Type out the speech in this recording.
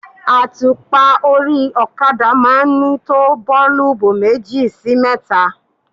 Àtùpà orí okada máa ń ní tó boolubu méjì sí mẹ́ta.